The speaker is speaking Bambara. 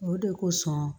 O de kosɔn